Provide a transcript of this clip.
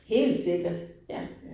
Helt sikkert. Ja